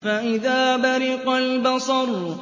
فَإِذَا بَرِقَ الْبَصَرُ